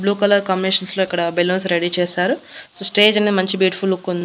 Blue colour కమిషన్స్ లో ఇక్కడ బెలూన్స్ రెడీ చేశారు సో స్టేజ్ అనేది మంచి బ్యూటిఫుల్ లుక్ ఉంది.